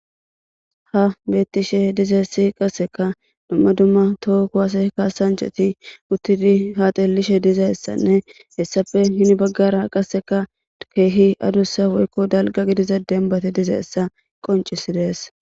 Ha beetishe dizayssi qassekka dumma dumma toho kuwase kaasanchati uttidi ha xeelishe dizayssanne hessappe hini bagara qasseka keehi adusa woykko dalgga gidiza dembbati dizayssa qonccisidees.